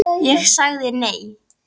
Ég sagði nei.